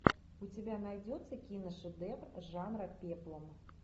у тебя найдется киношедевр жанра пеплум